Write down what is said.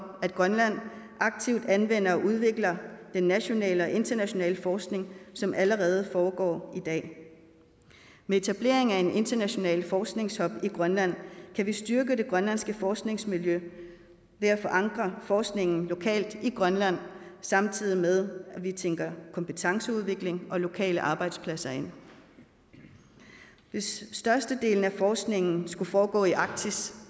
at grønland aktivt anvender og udvikler den nationale og internationale forskning som allerede foregår i dag med etablering af en international forskningshub i grønland kan vi styrke det grønlandske forskningsmiljø ved at forankre forskningen lokalt i grønland samtidig med at vi tænker kompetenceudvikling og lokale arbejdspladser ind hvis størstedelen af forskningen skulle foregå i arktis